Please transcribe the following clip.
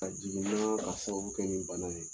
A jiginna ka sababu kɛ nin bana ye.